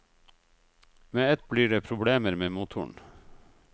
Med ett blir det problemer med motoren.